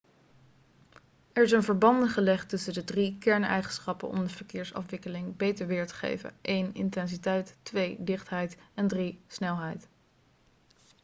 er zijn verbanden gelegd tussen de drie kerneigenschappen om de verkeersafwikkeling beter weer te geven: 1 intensiteit 2 dichtheid en 3 snelheid